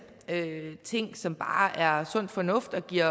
ting som bare er sund fornuft og giver